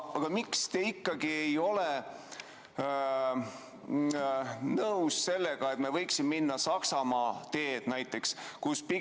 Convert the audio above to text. Aga miks te ikkagi ei ole nõus sellega, et me võiksime minna Saksamaa teed näiteks?